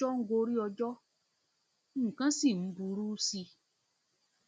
ọjọ ń gorí ọjọ nǹkan ọjọ nǹkan sì ń burú sí i